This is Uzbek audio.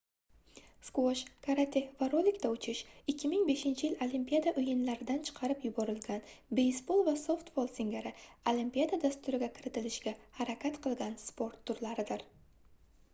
sqvosh karate va rolikda uchish 2005-yil olimpiada oʻyinlaridan chiqarib yuborilgan beysbol va softbol singari olimpiada dasturiga kiritilishiga harakat qilgan sport turlaridir